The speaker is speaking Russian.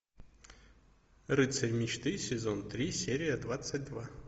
рыцарь мечты сезон три серия двадцать два